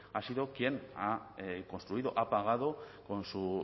ha sido quien ha construido ha pagado con su